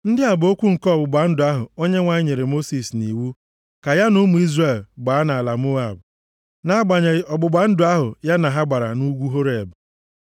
Ndị a bụ okwu nke ọgbụgba ndụ ahụ Onyenwe anyị nyere Mosis nʼiwu ka ya na ụmụ Izrel gbaa nʼala Moab na-agbanweghị ọgbụgba ndụ ahụ ya na ha gbara nʼugwu Horeb.